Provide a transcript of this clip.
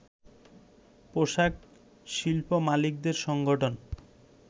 পোশাক শিল্প মালিকদের সংগঠন